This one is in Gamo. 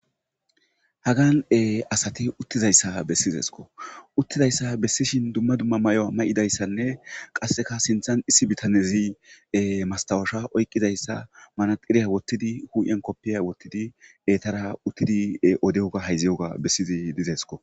Hagan asatti uttizayssa bessizoso.uttizayssa bessishin dumma dumma may'o may'idayssanne qasekka sinthan issi bitannezi masttawosha oyqqizayssa manadhiriya woththidi huphphiyan koppiya woththidi ettara uttidi odiyoga hayziyogga bessizi dezayko.